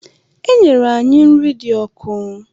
E nyere anyị nri dị ọkụ.